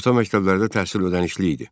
Orta məktəblərdə təhsil ödənişli idi.